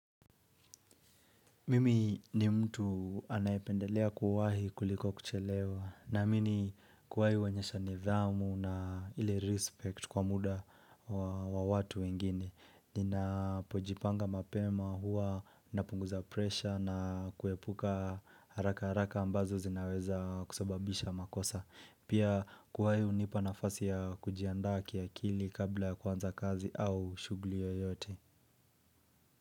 Mimi ni mtu anaependelea kuwahi kuliko kuchelewa, naamini, kuwahi huonyesha nidhamu na ili respect kwa muda wa wa watu wengine. Nina pojipanga mapema huwa napunguza presha na kuepuka haraka haraka ambazo zinaweza kusababisha makosa. Pia, kuwahi hunipa nafasi ya kujiandaa kiakili kabla ya kuanza kazi au shughuli yoyote.